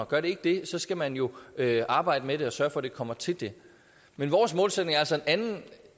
gør det ikke det skal man jo arbejde med det og sørge for at det kommer til det men vores målsætning er altså en anden